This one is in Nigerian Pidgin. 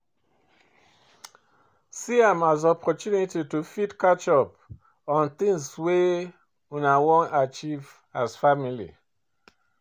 See am as opportunity to fit catch up on things wey una wan achieve as family